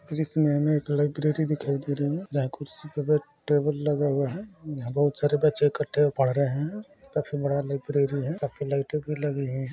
क्रिसने में एक लाइब्रेरी दिखाई दे रही है जहा खुर्सी पे बैट टेबल लगा हुआ है यहा बहोत सारे बच्चे एकट्ठे पड रहै है काफी बड़ा लाइब्ररी है काफी लाइटे भी लगी है।